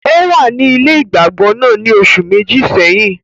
Ò wà ní ilé ìgbàgbọ náà ní oṣù Méjì sẹ́yìn